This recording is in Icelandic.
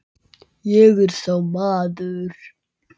Ég er sá maður.